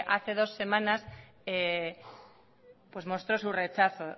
hace dos semanas pues mostró su rechazo